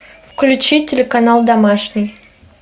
включи телеканал домашний